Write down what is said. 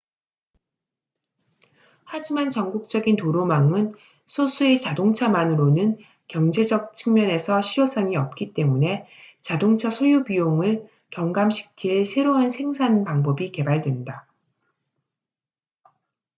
하지만 전국적인 도로망은 소수의 자동차만으로는 경제적 측면에서 실효성이 없기 때문에 자동차 소유 비용을 경감시킬 새로운 생산 방법이 개발된다